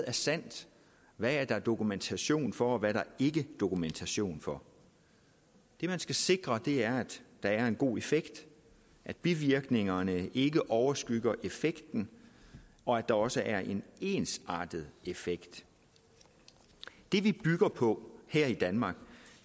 er sandt hvad der er dokumentation for og hvad der ikke dokumentation for det man skal sikre er at der er en god effekt at bivirkningerne ikke overskygger effekten og at der også er en ensartet effekt det vi bygger på her i danmark